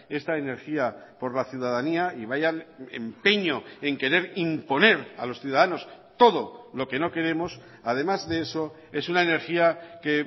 esta energía por la ciudadanía y vaya empeño en querer imponer a los ciudadanos todo lo que no queremos además de eso es una energía que